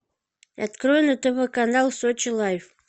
открой на тв канал сочи лайф